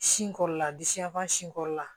Sin kɔrɔla di siyanfan sin kɔrɔla